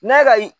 N'a ka